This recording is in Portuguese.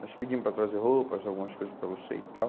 Nós pedimos para trazer roupas, algumas coisas para você e tal.